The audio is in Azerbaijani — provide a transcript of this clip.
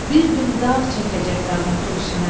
bir gün dağ çəkəcək dağın köksünə.